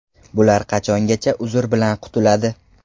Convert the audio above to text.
Bular qachongacha ‘uzr’ bilan qutuladi.